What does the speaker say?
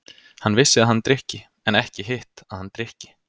Hann vissi að hann drykki- en ekki hitt, að hann drykki.